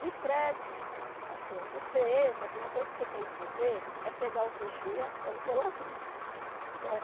De prédio, assim, ó, você entra, a primeira coisa que você tem que fazer é pegar o vigia ou o zelador, né?